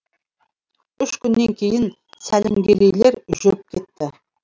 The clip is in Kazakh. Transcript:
үш күннен кейін сәлімгерейлер жүріп кетті